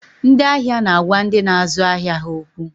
Ndị ahịa na agwa ndị na azụ ahịa ha okwu